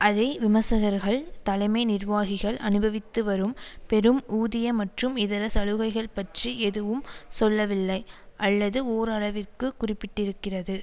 அதே விமர்சகர்கள் தலைமை நிர்வாகிகள் அனுபவித்து வரும் பெரும் ஊதிய மற்றும் இதர சலுகைகள் பற்றி எதுவும் சொல்லவில்லை அல்லது ஓரளவிற்கு குறிப்பிட்டிருக்கிறது